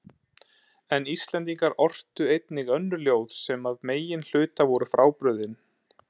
En Íslendingar ortu einnig önnur ljóð sem að meginhluta voru frábrugðin